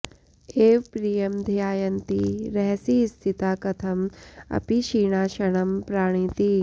एव प्रियम् ध्यायन्ती रहसि स्थिता कथम् अपि क्षीणा क्षणम् प्राणिति